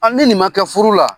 ni nin ma kɛ furu la